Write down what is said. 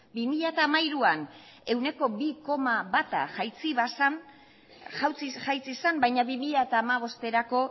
bi mila hamairuan ehuneko bi koma bat jaitsi zen baina bi mila hamabosterako